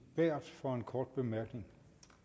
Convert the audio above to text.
berth for en kort bemærkning